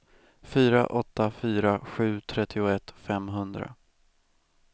fyra åtta fyra sju trettioett femhundra